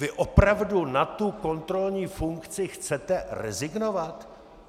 Vy opravdu na tu kontrolní funkci chcete rezignovat?